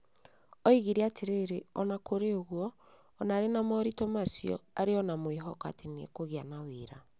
Oigire atĩrĩrĩ ,o na kũrĩ ũguo, o na arĩ na moritũ macio, arĩ o na mwĩhoko atĩ nĩ ekũgĩa na wĩra.